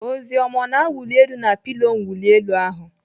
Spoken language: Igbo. Oziọma ọ na-awuli elu na pilo mwuli elu ahụ?